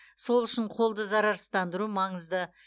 сол үшін қолды зарарсыздандыру маңызды